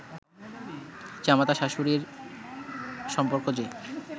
জামাতা-শাশুড়ীর সম্পর্ক যে